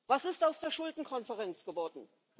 Was ist aus der Schuldenkonferenz geworden?